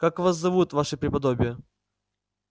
как вас зовут ваше преподобие